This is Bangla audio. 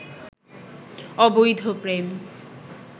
অবৈধ প্রেম